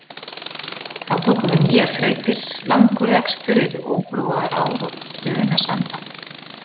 Þá tóku við nýjar þrautir, langur rekstur yfir óbrúaðar ár og brunasanda.